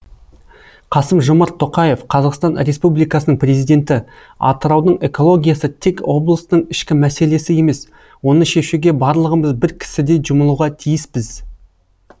қасым жомарт тоқаев қазақстан республикасының президенті атыраудың экологиясы тек облыстың ішкі мәселесі емес оны шешуге барлығымыз бір кісідей жұмылуға тиіспіз